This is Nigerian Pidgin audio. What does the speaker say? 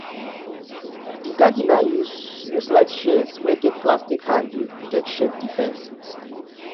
di gardener use use light shears wey get plastic handle take shape di fence